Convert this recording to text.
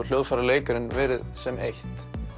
hljóðfæraleikarinn verið sem eitt